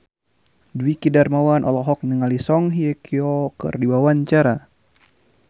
Dwiki Darmawan olohok ningali Song Hye Kyo keur diwawancara